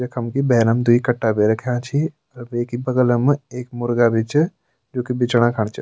यखम की भैरम द्वि कट्टा भी रख्याँ छि अर वेकि बगलम् एक मुर्गा भी च जोकि बिचना खण च।